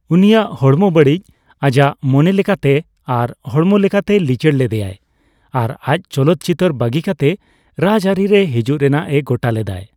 ᱩᱱᱤᱭᱟᱜ ᱦᱚᱲᱢᱚ ᱵᱟᱹᱲᱤᱡ ᱟᱡᱟᱜ ᱢᱚᱱᱮ ᱞᱮᱠᱟᱛᱮ ᱟᱨ ᱦᱚᱲᱢᱚ ᱞᱮᱠᱟᱛᱮᱭ ᱞᱤᱪᱟᱹᱲ ᱞᱮᱫᱮᱭᱟᱭ ᱟᱨ ᱟᱡ ᱪᱚᱞᱚᱛ ᱪᱤᱛᱟᱹᱨ ᱵᱟᱹᱜᱤ ᱠᱟᱛᱮ ᱨᱟᱡᱽᱟᱹᱨᱤ ᱨᱮ ᱦᱤᱡᱩᱜ ᱨᱮᱱᱟᱜ ᱮ ᱜᱚᱴᱟ ᱞᱮᱫᱟᱭ ᱾